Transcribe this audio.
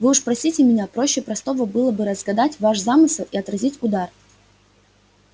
вы уж простите меня проще простого было бы разгадать ваш замысел и отразить удар